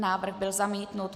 Návrh byl zamítnut.